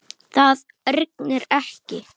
Það rignir ekki.